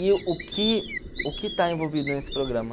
E o que o que está envolvido nesse programa?